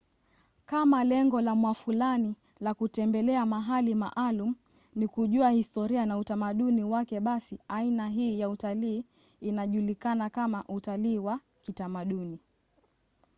kama lengo la mwafulani la kutembelea mahali maalum ni kujua historia na utamaduni wake basi aina hii ya utalii inajulikana kama utalii wa kitamaduni